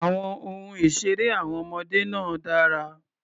Àwọn ohun ìṣeré àwọn ọmọdé náà dára.